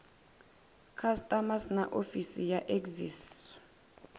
customs na ofisi ya excise